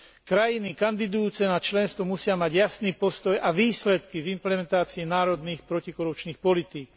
Krajiny kandidujúce na členstvo musia mať jasný postoj a výsledky v implementácii národných protikorupčných politík.